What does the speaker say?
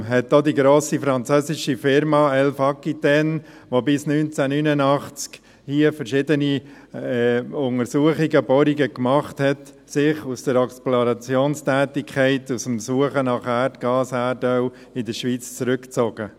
Darum zog sich auch die grosse französische Firma Elf Aquitaine, die hier 1989 verschiedene Untersuchungen, verschiedene Bohrungen durchführte, aus der Explorationstätigkeit, aus der Suche nach Erdgas und Erdöl in der Schweiz zurück.